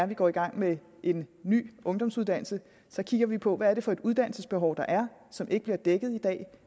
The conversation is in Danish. vi går i gang med en ny ungdomsuddannelse kigger vi på hvad det er for et uddannelsesbehov der er og som ikke bliver dækket i dag og